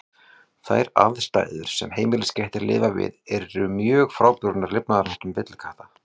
Þær aðstæður sem heimiliskettir lifa við eru mjög frábrugðnar lifnaðarháttum villikatta.